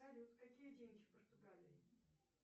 салют какие деньги в португалии